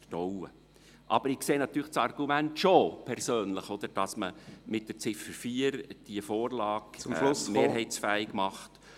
Aber ich persönlich sehe natürlich das Argument schon, dass man diese Vorlage mit der Ziffer 4 mehrheitsfähig macht.